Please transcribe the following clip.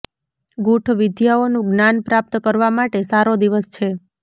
ગૂઠ વિદ્યાઓનું જ્ઞાન પ્રાપ્ત કરવા માટે સારો દિવસ છે